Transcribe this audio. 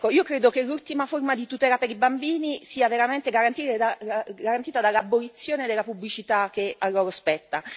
Io credo che l'ultima forma di tutela per i bambini sia veramente garantita dall'abolizione della pubblicità che a loro spetta.